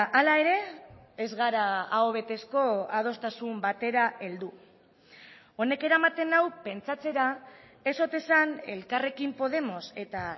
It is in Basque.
hala ere ez gara aho betezko adostasun batera heldu honek eramaten nau pentsatzera ez ote zen elkarrekin podemos eta